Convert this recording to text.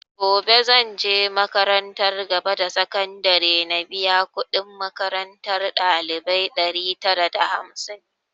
Gobe zanje makarantar gaba da sakandare na biya kudin makarantar ɗalibai ɗari tara da hamsin